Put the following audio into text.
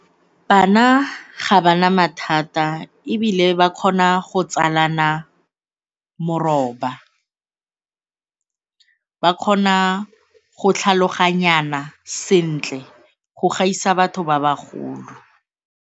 Bana ga ba na mathata ebile ba kgona go tsalana moroba, ba kgona go tlhaloganyana sentle go gaisa batho ba bagolo.